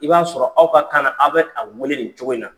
I b'a sɔrɔ aw ka kan na aw bɛ a wele nin cogo in na.